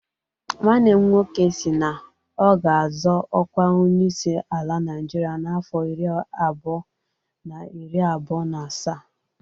Nwanne m nwoke si na ọ ga-azọ ọkwa Onyeisi ala Naịjirịa n'afọ iri abụọ na iri abụọ na asaa.